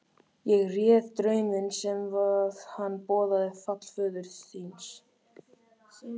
Ég réð drauminn svo að hann boðaði fall föður þíns.